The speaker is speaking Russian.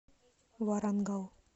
варангал